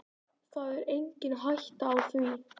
Það er engin hætta á því.